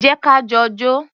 Jẹ́ ka jọ jó.